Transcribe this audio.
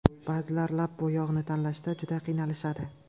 Ba’zilar lab bo‘yog‘ini tanlashda juda qiynalishadi.